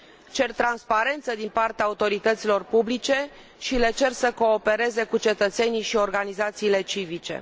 Cer transparență din partea autorităților publice și le cer să coopereze cu cetățenii și organizațiile civice.